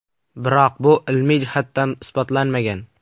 Biroq bu ilmiy jihatdan isbotlanmagan.